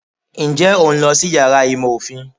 Nje o n lọ sí iyàrá ìmọ ofín?